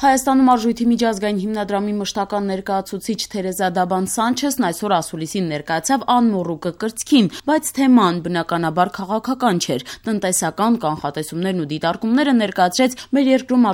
Հայաստանում Արժույթի միջազգային հիմնադրամի մշտական ներկայացուցիչ Թերեզա Դաբան Սանչեսն այսօր ասուլիսին ներկայացավ անմոռուկը կրծքին: Բայց թեման, բնականաբար, քաղաքական չէր: Տնտեսական կանխատեսումներն ու դիտարկումները ներկայացրեց մեր երկրում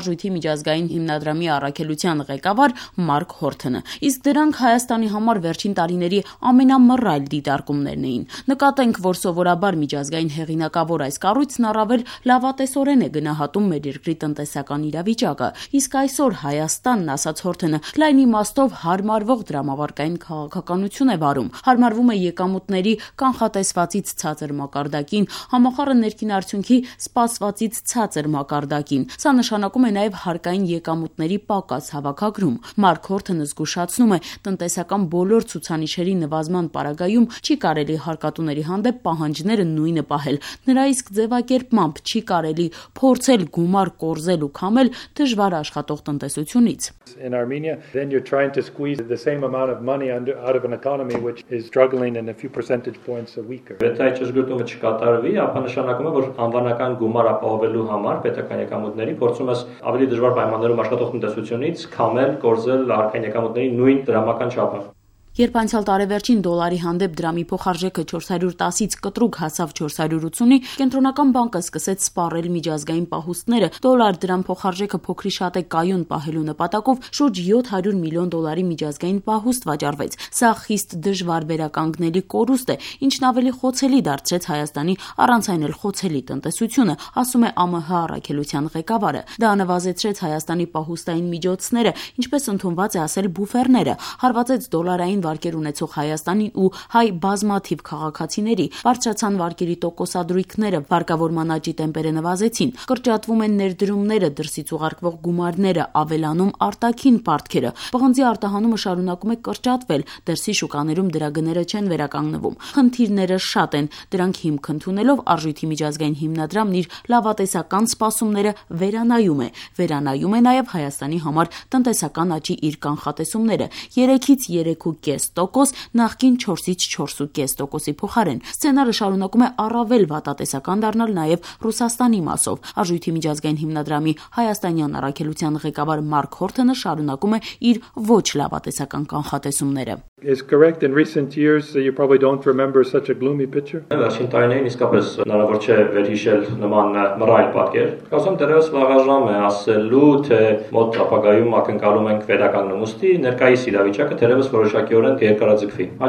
ԱՄՀ առաքելության ղեկավար Մարկ Հորթոնը: Իսկ դրանք Հայաստանի համար վերջին տարիների ամենամռայլ դիտարկումներն էին: Նկատենք, որ սովորաբար միջազգային հեղինակավոր այս կառույցն առավել լավատեսորեն է գնահատում մեր երկրի տնտեսական իրավիճակը: Իսկ այսօր Հայաստանը, ասաց Հորթոնը, լայն իմաստով հարմարվող դրամավարկային քաղաքականություն է վարում: Հարմարվում է եկամուտների` կանխատեսվածից ցածր մակարդակին, ՀՆԱ` սպասվածից ցածր մակարդակին: Սա նշանակում է նաեւ հարկային եկամուտների պակաս հավաքագրում: Մարկ Հորթոնը զգուշացնում է` տնտեսական բոլոր ցուցանիշերի նվազման պարագայում չի կարելի հարկատուների հանդեպ պահանջները նույնը պահել, նրա իսկ ձեւակերպմամբ` «չի կարելի փորձել գումար կորզել ու քամել դժվար աշխատող տնտեսությունից»։ Երբ անցյալ տարեվերջին դոլարի հանդեպ դրամի փոխարժեքը 410 -ից կտրուկ հասավ 480-ի, Կենտրոնական բանկը սկսեց սպառել միջազգային պահուստները. դոլար-դրամ փոխարժեքը փոքրիշատե կայուն պահելու նպատակով շուրջ 700 մլն դոլարի միջազգային պահուստ վաճառվեց: Սա խիստ դժվար վերականգնելի կորուստ է, ինչն ավելի խոցելի դարձրեց Հայաստանի առանց այն էլ խոցելի տնտեսոթյունը, ասում է ԱՄՀ առաքելության ղեկավարը: Դա նվազեցրեց Հայաստանի պահուստային միջոցները, ինչպես ընդունված է ասել բուֆերները, հարվածեց դոլարային վարկեր ունեցող Հայաստանին ու հայ բազմաթիվ քաղաքացիների, բարձրացան վարկերի տոկոսադրույքները, վարկավորման աճի տեմպերը նվազեցին: Կրճատվում են ներդրումները, դրսից ուղարկվող գումարները, ավելանում արտաքին պարտքերը: Պղնձի արտահանումը շարունակում է կրճատվեց. դրսի շուկաներում դրա գները չեն վերականգնվում: Խնդիրները շատ են: Դրանք հիմք ընդունելով` Արժույթի միջազգային հիմնադրամն իր լավատեսական սպասումները վերանայում է: Վերանայում է նաեւ Հայաստանի համար տնտեսական աճի իր կանխատեսումները` 3-3.5 տոկոս` նախկին 4-4.5 տոկոսի փոխարեն: Սցենարը շարունակում է առավել վատատեսական դառնալ նաեւ ռուսաստանի մասով: ԱՄՀ առաքելության ղեկավար Մարկ Հորթոնը շարունակում է իր ոչ լավատեսական կանխատեսումները: «Դժվար է սպասել, որ իրավիճակը շուտ կկայունանա: Առաջիկա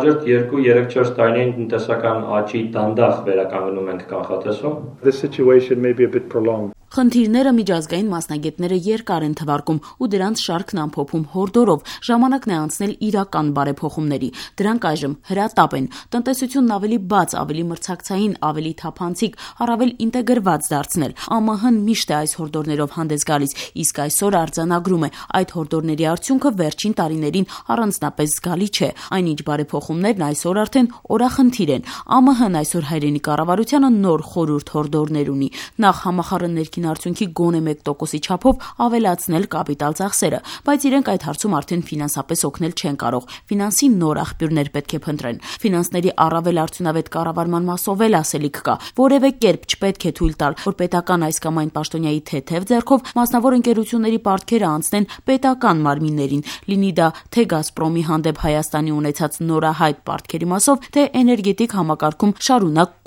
2-4 տարիներին տնտեսական աճի տեմպը դանդաղ կվերականգնվի»: Խնդիրները միջազգային մասնագետները երկար են թվարկում ու դրանց շարքն ամփոփում հորդորով` ժամանակն է անցնել իրական բարեփոխումների: Դրանք այժմ հրատապ են: Տնտեսությունն ավեի բաց, ավելի մրցակցային, ավելի թափանցիկ, առավել ինտեգրված դարձնել: ԱՄՀ-ն միշտ է այս հորդորներնով հանդես գալիս, իսկ այսօր արձանագրում է` այդ հորդորների արդյունքը վերջին տարիներին առանձնապես զգալի չէ: Այնինչ՝ բարեփոխումներն այսօր օրախնդիր են: ԱՄՀ-ն այսօր հայրենի կառավարությանը նոր խորհուրդ-հորդորներ ունի: Նախ`ՀՆԱ գոնե մեկ տոկոսի չափով ավելացնել կապիտալ ծախսերը: Բայց իրենք այդ հարցում արդեն ֆինանսապես օգնել չեն կարող, ֆինանսի նոր աղբյուրներ պետք է փնտրել: Ֆինանսների առավել արդյունավետ կառավարման մասով էլ ասելիք կա: Որեւէ կերպ չպետք է թույլ տալ, որ պետական այս կամ այն պաշտոնյայի թեթեւ ձեռքով մասնավոր ընկերությունների պարտքերը անցնեն պետական մարմիններին, լինի դա թե «Գազպրոմի» հանդեպ Հայաստանի ունեցած նորահայտ պարտքերի մասով, թե էներգետիկ համակարգում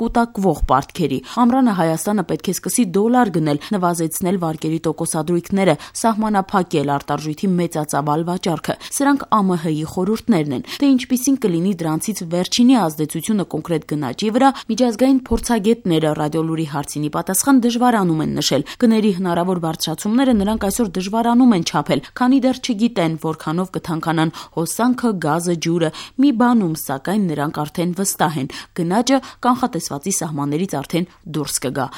կուտակված պարտքերի: Ամռանը Հայաստանը պետք է սկսի դոլար գնել, նվազեցնել վարկերի տոկոսադրույքները, սահմանափակել արտարժույթի մեծածավալ վաճառքը: Սրանք ԱՄՀ-ի խորհուրդներն են: Թե ինչպիսին կլինի դրանցից վերջինի ազդեցությունը կոնկրետ գնաճի վրա, ԱՄՀ մասնագետները, «Ռադիոլուրի» հարցին ի պատասխան, դժվարանում են նշել: Գների հնարավոր բարձրացումները նրանք դժվարանում են այսօր չափել, քանի դեռ չգիտեն` որքանով կթանկանան հոսանքը, գազը, ջուրը: Մի բանում, սակայն, նրանք վստահ են` գնաճը կանխատեսվածի սահմաններից արդեն դուրս կգա: